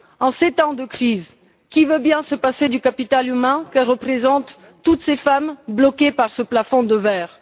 En ces temps de crise, qui veut bien se passer du capital humain que représentent toutes ces femmes bloquées par ce plafond de verre?